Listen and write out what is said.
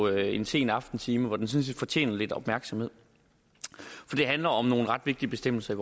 en sen aftentime hvor den sådan set fortjener lidt opmærksomhed for det handler om nogle ret vigtige bestemmelser